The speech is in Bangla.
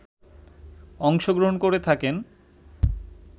অংশগ্রহণ করে থাকেন